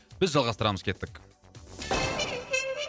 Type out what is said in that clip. біз жалғастырамыз кеттік